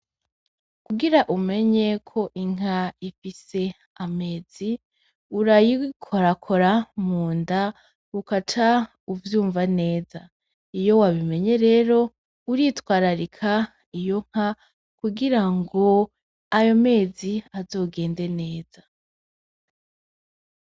Kugira umenye ko inka ifise amazi urayikorakora munda, ukaca uvyumva neza ,iyo wabimenye rero uritwararika iyo nka kugira ngo ayo mezi azogende neza.